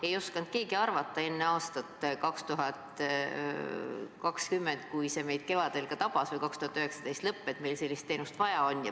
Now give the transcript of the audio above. Ei osanud keegi arvata enne aastat 2020, kui see meid kevadel tabas, või enne 2019. aasta lõppu, et meil sellist teenust vaja on.